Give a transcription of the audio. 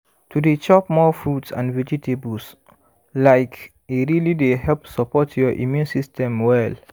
to dey chop more fruits and vegetables like e really dey help support your immune system well